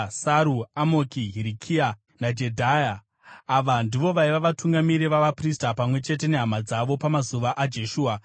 Saru, Amoki, Hirikia naJedhaya. Ava ndivo vaiva vatungamiri vavaprista pamwe chete nehama dzavo pamazuva aJeshua.